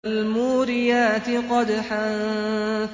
فَالْمُورِيَاتِ قَدْحًا